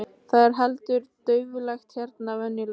Það er heldur dauflegt hérna venjulega.